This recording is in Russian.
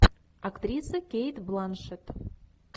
актриса кейт бланшетт